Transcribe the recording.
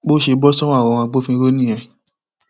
bó ṣe bọ sọwọ àwọn agbófinró nìyẹn